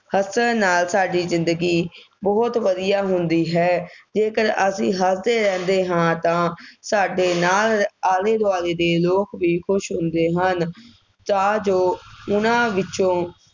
ਹੱਸਣ ਨਾਲ ਸਾਡੀ ਜ਼ਿੰਦਗੀ ਬਹੁਤ ਵਧੀਆ ਹੁੰਦੀ ਹੈ। ਜੇਕਰ ਅਸੀਂ ਹੱਸਦੇ ਰਹਿੰਦੇ ਹਾਂ ਤਾਂ ਸਾਡੇ ਨਾਲ ਆਲੇ ਦੁਆਲੇ ਦੇ ਲੋਕ ਵੀ ਖੁਸ਼ ਹੁੰਦੇ ਹਨ। ਤਾਂ ਜੋ ਉਹਨਾ ਵਿੱਚੋਂ